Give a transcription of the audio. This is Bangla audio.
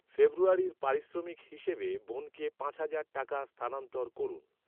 ফেব্রুয়ারির পারিশ্রমিক হিসেবে বোনকে পাঁচ হাজার টাকা স্থানান্তর করুন।